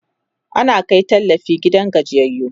ana Kai tallafi gidajen gajiyayyu